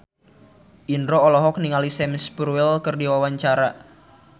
Indro olohok ningali Sam Spruell keur diwawancara